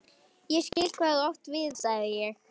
Ég skil, hvað þú átt við sagði ég.